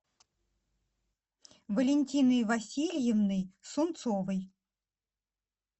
валентиной васильевной сунцовой